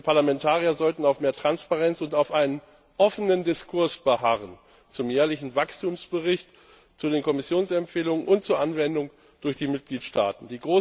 Wir Parlamentarier sollten auf mehr Transparenz und auf einem offenen Diskurs beharren, zum jährlichen Wachstumsbericht, zu den Kommissionsempfehlungen und zur Anwendung durch die Mitgliedstaaten.